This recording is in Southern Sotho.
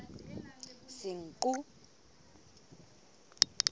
senqu